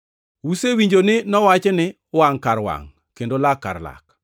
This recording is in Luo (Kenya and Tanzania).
“Usewinjo ni nowachi ni, ‘Wangʼ kar wangʼ kendo lak kar lak.’ + 5:38 \+xt Wuo 21:24; Lawi 24:20; Rap 19:21\+xt*